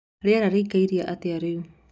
rĩera rĩĩkaĩre atĩa rĩu